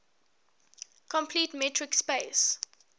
complete metric space